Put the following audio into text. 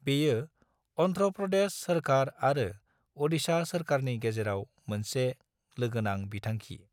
बेयो अन्ध्र प्रदेश सोरकार आरो अडिशा सोरकारनि गेजेराव मोनसे लोगोनां बिथांखि।